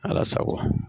Ala sago